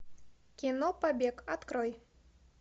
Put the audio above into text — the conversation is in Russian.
кино побег открой